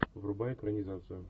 врубай экранизацию